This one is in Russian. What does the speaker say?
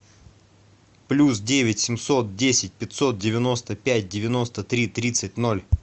плюс девять семьсот десять пятьсот девяносто пять девяносто три тридцать ноль